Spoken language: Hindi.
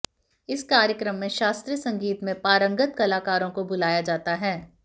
इस कार्यक्रम मे शास्त्रीय संगीत मे पारंगत कलाकारों को बुलाया जाता है